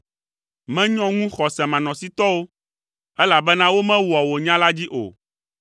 Menyɔ ŋu xɔsemanɔsitɔwo, elabena womewɔa wò nya la dzi o.